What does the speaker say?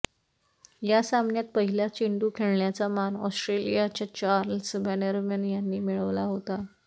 या सामन्यात पहिला चेंडू खेळण्याचा मान ऑस्ट्रेलियाच्या चार्ल्स बॅनरमन यांनी मिळवला होता